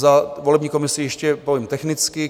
Za volební komisi ještě povím technicky.